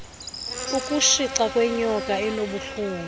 ukutshica kwenyoka enobuhlungu